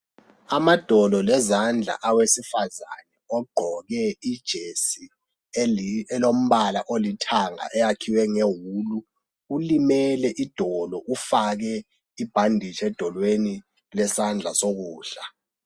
Amadolo lezandla awesifazana ogqoke ijesi elombala olithanga eyakhiwe ngewulu ulimele idolo ufake ibhanditshi edolweni lesandla sokudla.